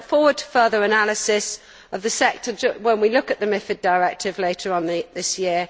I look forward to further analysis of the sector when we look at the MiFID Directive later on this year.